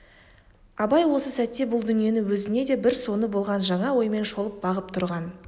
абай осы сәтте бұл дүниені өзіне де бір соны болған жаңа оймен шолып бағып тұрған